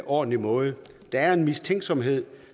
ordentlig måde der er en mistænksomhed